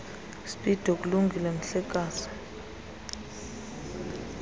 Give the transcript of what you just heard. speedo kulungile mhlekazi